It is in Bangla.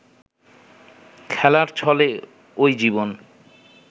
খেলার ছলে ওই জীবন